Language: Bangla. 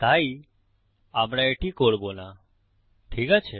তাই আমরা এটি করব না ঠিক আছে